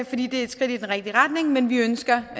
fordi det er et skridt i den rigtige retning men vi ønsker